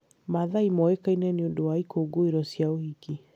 Maathai moĩkaine nĩ ũndũ wa ikũngũĩro cia ũhiki